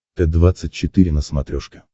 т двадцать четыре на смотрешке